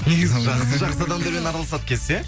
негізі жақсы жақсы адамдармен араласады екенсіз иә